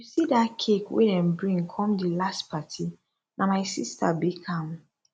you see dat cake wey dem bring come di last party na my sister bake am